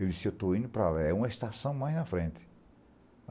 Eu disse, eu estou indo para lá, é uma estação mais na frente.